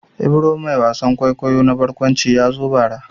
Ibro mai wasan kwaikwayo na barkwanci ya zo bara.